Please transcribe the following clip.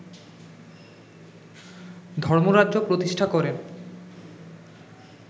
ধর্মরাজ্য প্রতিষ্ঠা করেন